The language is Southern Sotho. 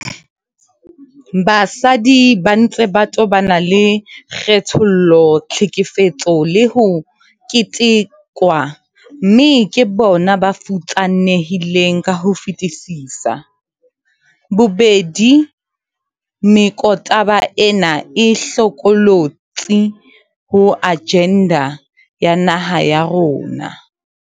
Basadi ba ntse ba tobana le kgethollo, tlhekefetso le ho ketekwa, mme ke bona ba futsanehileng ka ho fetisisa. Bobedi mekotaba ena e hlokolotsi ho ajenda ya naha ya rona.